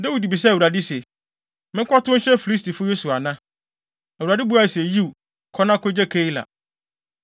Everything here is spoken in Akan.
Dawid bisaa Awurade se, “Menkɔtow nhyɛ Filistifo yi so ana?” Awurade buae se, “Yiw, kɔ na kogye Keila.”